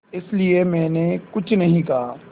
इसलिए मैंने कुछ नहीं कहा